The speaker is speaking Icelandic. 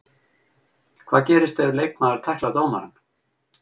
Hvað gerist ef leikmaður tæklar dómarann?